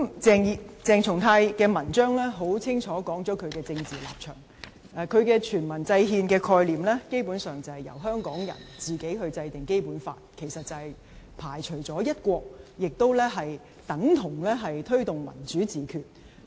鄭松泰的文章清楚說明其政治立場，他的"全民制憲"概念，基本上，是由香港人自行制定《基本法》，其實是排除了"一國"，亦等同推動"民主自決"。